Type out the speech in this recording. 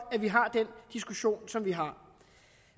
vi har den diskussion som vi har